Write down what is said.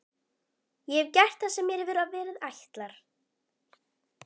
Ég hef gert það sem mér hefur verið ætlað.